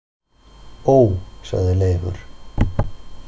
Ó, sagði Leifur.